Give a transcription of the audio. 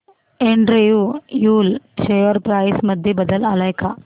Andrew Yule share price मध्ये बदल आलाय का